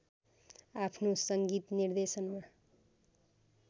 आफ्नो सङ्गीत निर्देशनमा